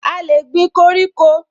A lè gbin koríko